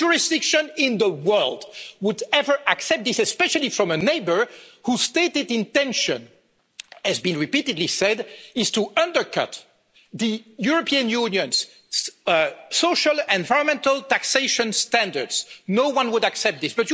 No jurisdiction in the world would ever accept this, especially from a neighbour whose stated intention, as has been repeatedly said, is to undercut the European Union's social and environmental taxation standards. No one would accept this.